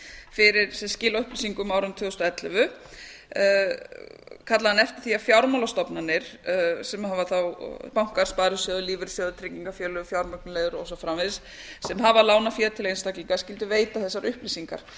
fyrir skil á upplýsingum árinu tvö þúsund og ellefu kallaði hann eftir því að fjármálastofnanir sem eru þá bankar sparisjóðir lífeyrissjóðir tryggingafélög fjármögnunarleiðir og svo framvegis sem hafa lánað fé til einstaklinga skyldu veita þessar upplýsingar